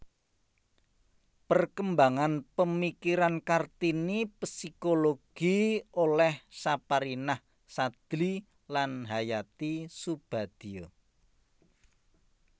Perkembangan pemikiran Kartini psikologi oleh Saparinah Sadli dan Hayati Soebadio